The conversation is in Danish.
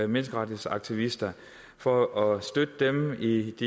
menneskerettighedsaktivister for at støtte dem i